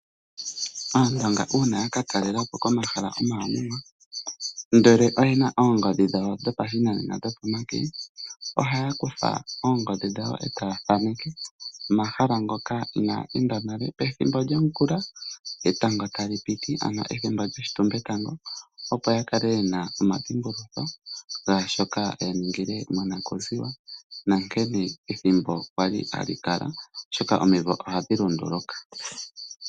Aandonga una yaka talelapo komahala omawanawa ndele oyena oongodhi dhawo dhopashinanena dhopomake. Oha kutha ongodhi dhawo eta yathaneke omahala ngoka inaya enda nale. Pethimbo lyongula, etanga tali piti ethimbo lyoshitumbe tango. Opo ya kale yena oshidhimbulukitho sha shoka ya ningile monakuziwa nankene ethimbo kwali hali kala. Omiivo ohadhi lunduluka.